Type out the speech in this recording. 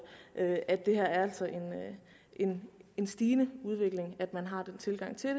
at at der altså er en en stigende udvikling i at man har den tilgang til